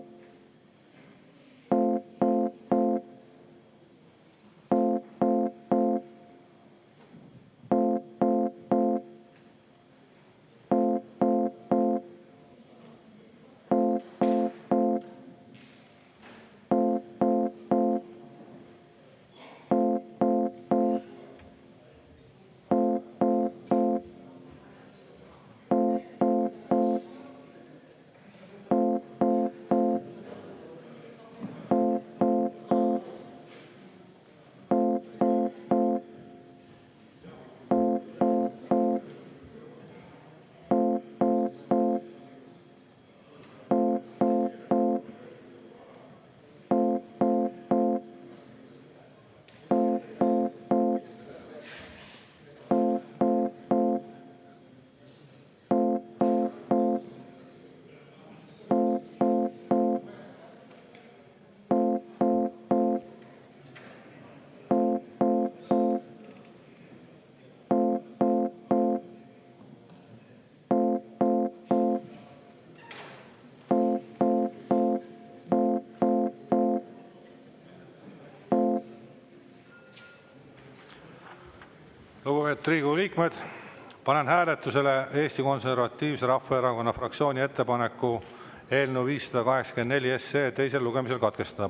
Lugupeetud Riigikogu liikmed, panen hääletusele Eesti Konservatiivse Rahvaerakonna fraktsiooni ettepaneku eelnõu 584 teisel lugemisel katkestada.